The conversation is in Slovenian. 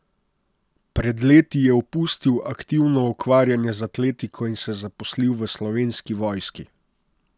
Pred leti je opustil aktivno ukvarjanje z atletiko in se zaposlil v Slovenski vojski.